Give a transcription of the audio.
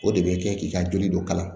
O de bɛ kɛ k'i ka joli dɔ kalan